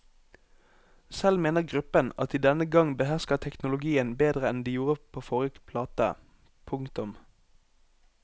Selv mener gruppen at de denne gang behersker teknologien bedre enn de gjorde på forrige plate. punktum